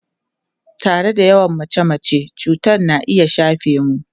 Tare da yawan mace-mace, cutar na iya shafe mu.